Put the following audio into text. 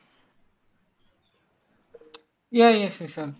yeah yes